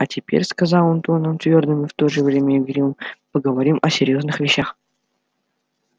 а теперь сказал он тоном твёрдым и в то же время игривым поговорим о серьёзных вещах